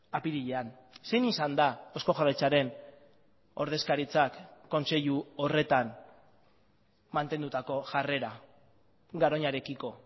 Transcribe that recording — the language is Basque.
apirilean zein izan da eusko jaurlaritzaren ordezkaritzak kontseilu horretan mantendutako jarrera garoñarekiko